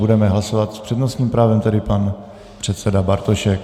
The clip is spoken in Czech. Budeme hlasovat, s přednostním právem tedy pan předseda Bartošek.